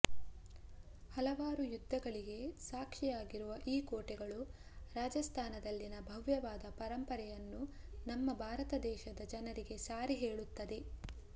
ಹಲವಾರು ಯುದ್ಧಗಳಿಗೆ ಸಾಕ್ಷಿಯಾಗಿರುವ ಈ ಕೋಟೆಗಳು ರಾಜಸ್ಥಾನದಲ್ಲಿನ ಭವ್ಯವಾದ ಪರಂಪರೆಯನ್ನು ನಮ್ಮ ಭಾರತದೇಶದ ಜನರಿಗೆ ಸಾರಿ ಹೇಳುತ್ತದೆ